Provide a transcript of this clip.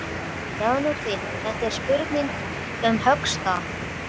Sjáðu til, þetta er spurning um höggstað.